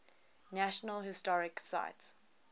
national historic site